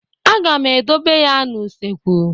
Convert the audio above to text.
Aga m edobe ya n'usekwu.